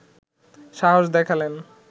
সাহস দেখালেন